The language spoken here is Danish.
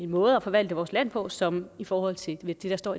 måde at forvalte vores land på som i forhold til det der står